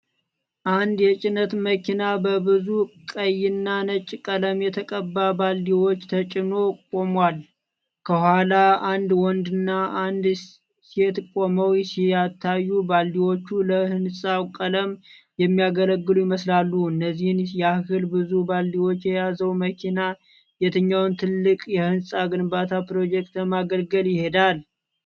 አንድ የጭነት መኪና በብዙ ቀይና ነጭ ቀለም የተቀባ ባልዲዎች ተጭኖ ቆሟል። ከኋላ አንድ ወንድና አንዲት ሴት ቆመው ሲታዩ፣ ባልዲዎቹ ለህንጻ ቀለም የሚያገለግሉ ይመስላል። እነዚህን ያህል ብዙ ባልዲዎች የያዘው መኪና የትኛውን ትልቅ የህንጻ ግንባታ ፕሮጀክት ለማገልገል ይሄዳል?